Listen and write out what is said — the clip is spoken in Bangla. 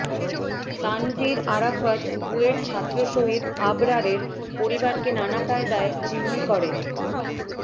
তানভীর আরাফাত বুয়েট ছাত্র শহীদ আবরারের পরিবারকে নানা কায়দায় জিম্মি করে